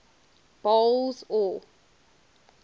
boles aw